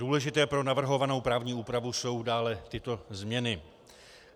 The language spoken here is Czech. Důležité pro navrhovanou právní úpravu jsou dále tyto změny.